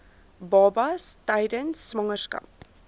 babas tydens swangerskap